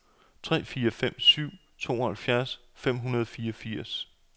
ni fire fem syv tooghalvfjerds fem hundrede og niogfirs